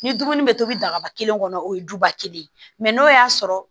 Ni dumuni bɛ tobi dagaba kelen kɔnɔ o ye duba kelen ye mɛ n'o y'a sɔrɔ